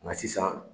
Nka sisan